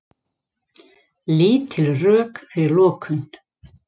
Lítil rök fyrir lokun